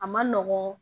A ma nɔgɔn